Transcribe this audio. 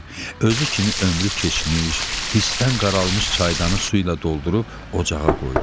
Özü kimi ömrü keçmiş, hisdən qaralmış çaydanı su ilə doldurub ocağa qoydu.